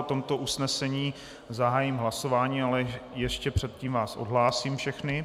O tomto usnesení zahájím hlasování, ale ještě předtím vás odhlásím všechny.